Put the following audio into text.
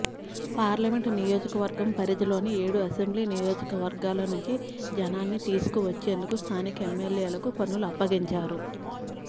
parliament నియోజకవర్గం పరిధిలో ని ఏడు అసెంబ్లీ నియోజకవర్గాల నుంచి జనాన్ని తీసుకువచ్చేందుకు స్థానిక ఎమ్మెల్యేలకు పనులు అప్పగించారు